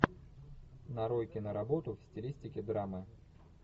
нарой киноработу в стилистике драмы